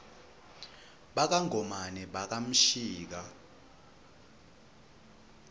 baka ngomane baka mshika